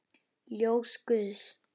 Ljós guðs.